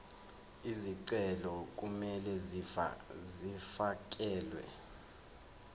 izicelo kumele zifakelwe